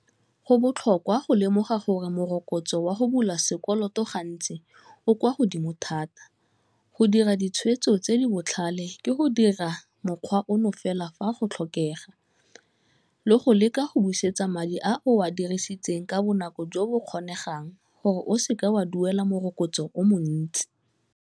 Go botlhokwa go lemoga gore morokotso wa go bula sekoloto gantsi o kwa godimo thata, go dira ditshwetso tse di botlhale ke go dira mokgwa ono fela fa go tlhokega, le go leka go busetsa madi a o a dirisitseng ka bonako jo bo kgonegang gore o seke wa duela morokotso o montsi.